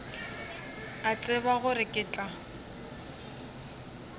a tseba gore ke tla